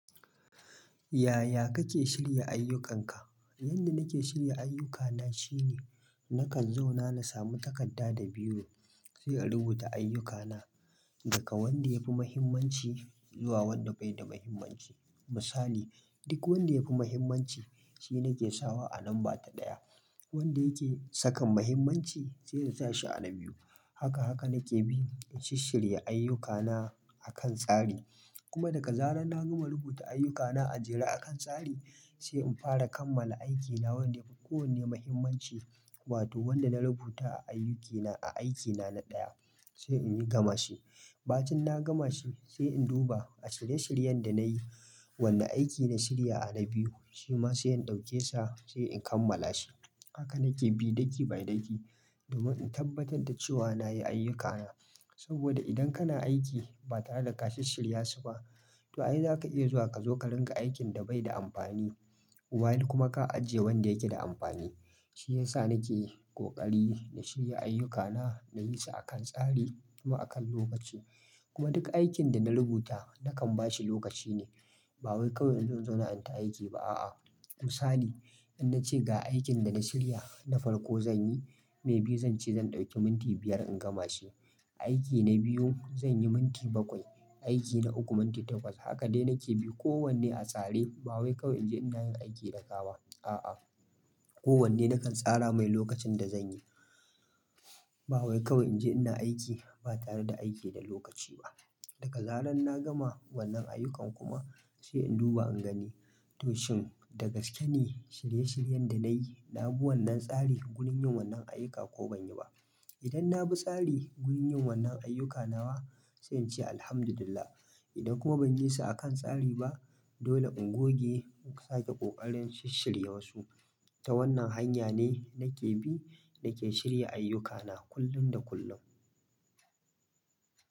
Yaya kake shirya ayyukanka? Yanda nake shirya ayyukana shine nakan zauna na samu takarda da biro sai in rubuta ayyukana daga wanda ya fi muhimmanci zuwa wanda bai da muhimmanci. Misali, duk wanda ya fi muhimmanci shi nake sawa a lamba ta ɗaya. Wanda yake sakan muhimmanci sai in sa shi a na biyu. Haka haka nake bi in shishirya ayyukana akan tsari. Kuma daga zarar na gama rubuta ayyukana a jere akan tsari sai in fara kammala aikina wanda yafi ko wanne muhimmanci wato wanda na rubuta a ayyukina a aikina na ɗaya sai in yi gama shi. Ba cin na gama shi sai in duba a shirye-shiryen da na yi wanne aiki na shirya a na biyu shima sai in dauke sa sai in kammala shi. Haka nake bi daki-ba-daki domin in tabbatar da cewa na yi ayyukana. Saboda idan kana aiki ba tare da ka shishirya su ba to ai zaka iya zuwa ka zo ka ringa aikin da bai da amfani wayil kuma ka ajiye wanda yake da amfani. Shi yasa nake ƙoƙari na shirya ayyukana na yi su akan tsari kuma akan lokaci. Kuma duk aikin da na rubuta nakan bashi lokaci ne. Ba wai kawai in zo in zauna inta aiki ba a'a. Misali, in na ce ga aikin da na shirya na farko zan yi, mai biyu zan ce zan ɗauki minti biyar in gama shi. Aiki na biyu zan yi minti bakwai, aiki na uku minti takwas. Haka dai nake bi kowanne a tsare ba wai kawai in je ina yin aiki da gawa a'a. Kowanne nakan tsara mai lokacin da zan yi. Ba wai kawai in je ina aiki ba tare da aiki da lokaci ba. Daga zaran na gama wannan ayyukan kuma sai in duba in gani to shin da gaske ne shirye-shiryen da na yi na bi wannan tsari gurin yin wannan ayuka ko ban yi ba. Idan na bi tsari wurin yin wannan ayyuka nawa sai in ce Alhamdulillah. Idan kuma ban yi su akan tsari ba dole in goge in sake ƙoƙarin shi-shirye warsu. Ta wannan hanya ne nake bi nake shirya ayyukana kullum da kullum.